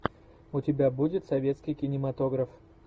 у тебя будет советский кинематограф